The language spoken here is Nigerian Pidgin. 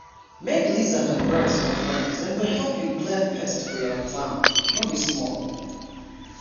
make lizards and birds your friend dem go help clear pests for your farm no be small!